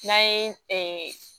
N'an ye